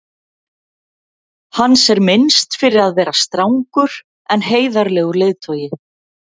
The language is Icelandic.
hans er minnst fyrir að vera strangur en heiðarlegur leiðtogi